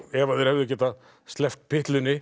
ef þeir hefðu getað sleppt